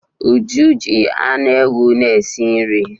Uju ji anụ ewu na-esi nri.